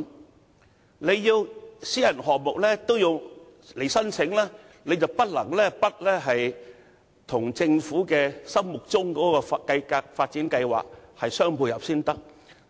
由於當局要求私人項目必須申請，他們不得不與政府心目中的發展計劃互相配合，